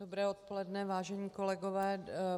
Dobré odpoledne, vážení kolegové.